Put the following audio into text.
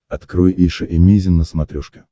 открой эйша эмейзин на смотрешке